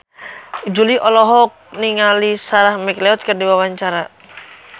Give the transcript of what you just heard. Jui olohok ningali Sarah McLeod keur diwawancara